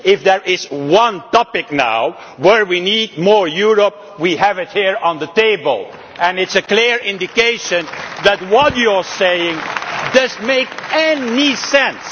If there is one topic now where we need more Europe, we have it here on the table, and it is a clear indication that what you are saying does not make any sense.